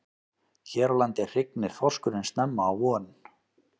Hér á landi hrygnir þorskurinn snemma á vorin.